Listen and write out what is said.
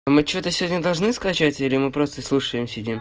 мы что-то сегодня должны скачать или мы просто слушаем